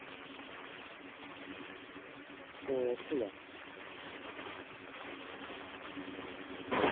তো ঠিক আছে